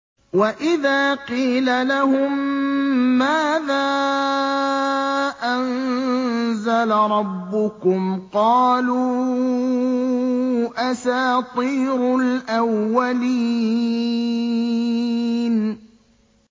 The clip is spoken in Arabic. وَإِذَا قِيلَ لَهُم مَّاذَا أَنزَلَ رَبُّكُمْ ۙ قَالُوا أَسَاطِيرُ الْأَوَّلِينَ